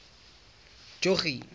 jogee